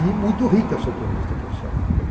E muito rica a seu ponto de vista profissional.